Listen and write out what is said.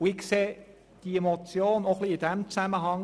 Ich sehe die Motion auch in diesem Zusammenhang.